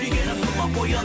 сүйгенім тұла бойын